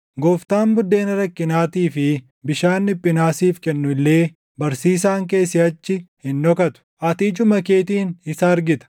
Gooftaan buddeena rakkinaatii fi bishaan dhiphinaa siif kennu illee barsiisaan kee siʼachi hin dhokatu; ati ijuma keetiin isa argita.